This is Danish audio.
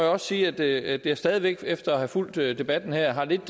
også sige at jeg stadig væk efter at have fulgt debatten her har lidt